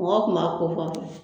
Mɔgɔw tun kofɔ n fɛ